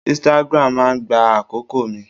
Instagram máa gba àkókò mi.